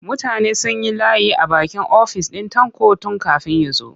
Mutane sun yi layi a bakin ofis ɗin Tanko tun kafin ya zo.